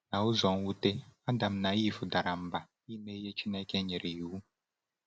N’ụzọ nwute, Adam na Ivụ dara mba ime ihe Chineke nyere iwu.